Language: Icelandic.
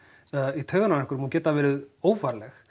í taugarnar á einhverjum og geta verið óvarleg